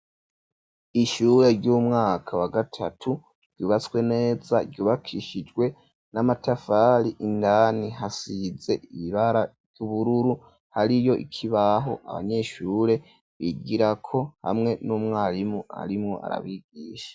Ishure ry'umwaka wa gatatu ryubatswe neza ryubakishijwe n'amatafari indani hasize ibara ry'ubururu hariyo ikibaho abanyeshure bigira ko hamwe n'umwarimu arimwo arabigisha.